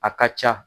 A ka ca